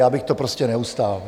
Já bych to prostě neustál.